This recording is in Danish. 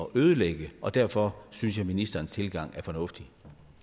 ødelægge derfor synes jeg ministerens tilgang er fornuftig